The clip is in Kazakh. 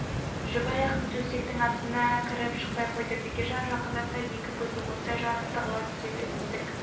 жүк аяқтың төсектің астына кіріп шықпай қойды бекежан жақындаса екі көзі оттай жанып тығыла түседі есік